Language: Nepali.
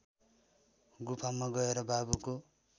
गुफामा गएर बाबुको